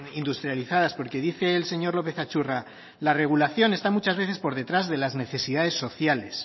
industrializadas porque dice el señor lópez atxurra la regulación está muchas veces por detrás de las necesidades sociales